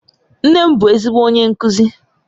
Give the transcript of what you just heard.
Nne m bu ezigbo onye nkuzi